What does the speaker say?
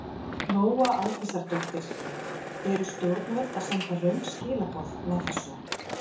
Lóa Aldísardóttir: Eru stjórnvöld að senda röng skilaboð með þessu?